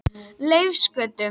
Leifsgötu